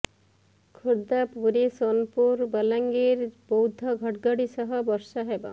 ଖୋର୍ଦ୍ଧା ପୁରୀ ସୋନପୁର ବଲାଙ୍ଗିର ବୌଦ୍ଧ ଘଡଘଡି ସହ ବର୍ଷା ହେବ